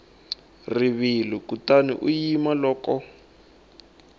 rivilo kutani u yima loko